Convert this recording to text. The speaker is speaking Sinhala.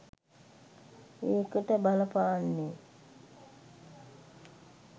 ඒකට බලපාන්නෙ